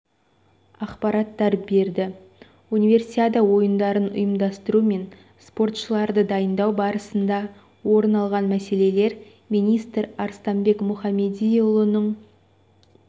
ақпараттар берді универсиада ойындарын ұйымдастыру мен спортшыларды дайындау барысында орын алған мәселелер министр арыстанбек мұхамедиұлының